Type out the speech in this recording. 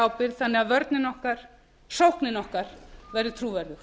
ábyrgð þannig að sóknin okkar verði trúverðug